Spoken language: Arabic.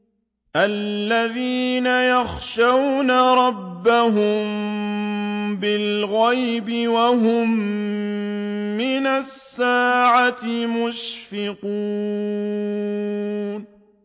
الَّذِينَ يَخْشَوْنَ رَبَّهُم بِالْغَيْبِ وَهُم مِّنَ السَّاعَةِ مُشْفِقُونَ